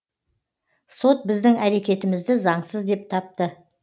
сот біздің әрекетімізді заңсыз деп тапты